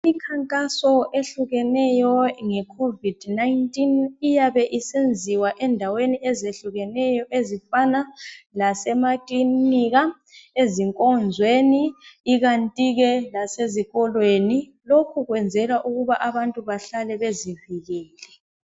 Imikhankaso ehlukeneyo nge COVID-19 iyabe isenziwa endaweni ezihlukeneyo, izifana lasemakilinika , ezinkonzweni , ikanti ke lasezikolweni. Lokhu kuyenzelwa ukuba abantu behlale bezivikele.